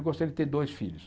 Eu gostaria de ter dois filhos.